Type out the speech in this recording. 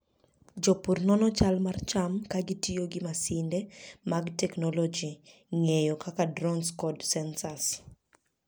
Jopur nono chal mar cham ka gitiyo gi masinde ma tekogi ng'eny kaka drones kod sensors.